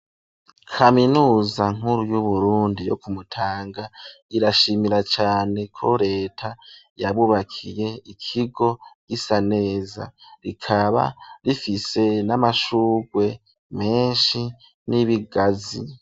Kaminuza nkuru, y'Uburundi, yo ku Mutanga, irashimira cane, ko leta yabubakiye, ikigo gisa neza; rikaba rifise n'amashurwe menshi, n'ibigazi.